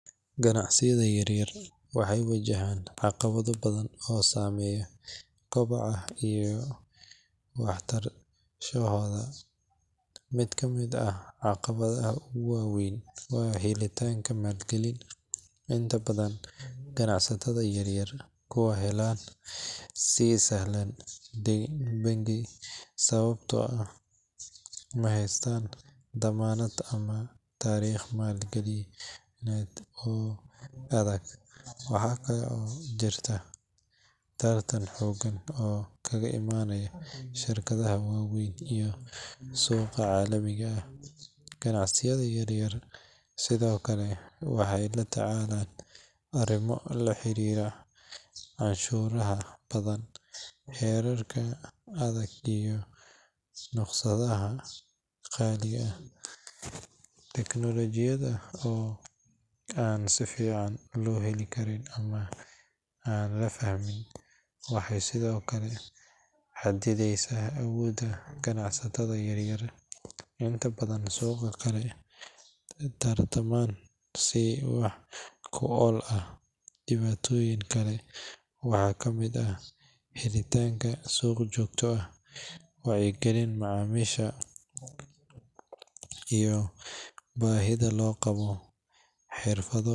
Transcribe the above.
Ganacsiyada yaryar waxay wajahaan caqabado badan oo saameeya kobaca iyo waartaanshahooda. Mid ka mid ah caqabadaha ugu waaweyn waa helitaanka maalgelin. Inta badan ganacsatada yaryar kuma helaan si sahlan deyn bangi sababtoo ah ma haystaan dammaanad ama taariikh maaliyadeed oo adag. Waxaa kale oo jirta tartan xooggan oo kaga imaanaya shirkadaha waaweyn iyo suuqa caalamiga ah. Ganacsiyada yaryar sidoo kale waxay la tacaalaan arrimo la xiriira canshuuraha badan, xeerarka adag iyo rukhsadaha qaali ah. Teknoolojiyadda oo aan si fiican loo heli karin ama aan la fahmin waxay sidoo kale xaddidaysaa awoodda ganacsatada yaryar inay suuqa kula tartamaan si wax ku ool ah. Dhibaatooyinka kale waxaa ka mid ah helitaanka suuq joogto ah, wacyiga macaamiisha, iyo baahida loo qabo xirfado.